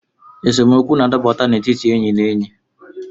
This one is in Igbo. Esemokwu na-adaputa n’etiti enyi na enyi